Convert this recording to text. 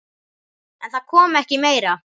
En það kom ekki meira.